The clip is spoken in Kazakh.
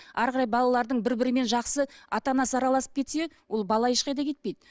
әрі қарай балалардың бір бірімен жақсы ата анасы араласып кетсе ол бала ешқайда кетпейді